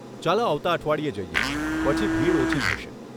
ચાલો આવતા અઠવાડિયે જઈએ, પછી ભીડ ઓછી થશે.